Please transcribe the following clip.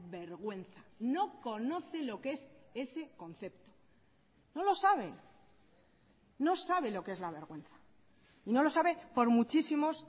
vergüenza no conoce lo que es ese concepto no lo sabe no sabe lo que es la vergüenza y no lo sabe por muchísimos